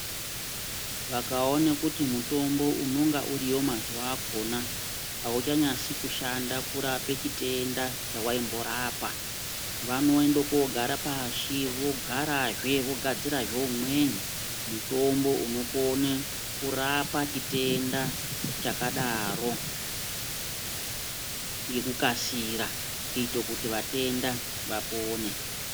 Vakaone kuti mutombo unonga uriyo mazuva akona hauchanyasi kushanda kurape chitenda chawaimborapa. Vanoende koogara pashi vogarazve vogadzirazve umweni mutombo unokone kurapa chitenda chakadaro ngekukasira kuito kuti vatenda vapone.